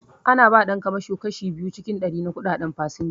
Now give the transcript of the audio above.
Ana ba ɗan kamasho kashi biyu cikin ɗari na kuɗaɗen fasinja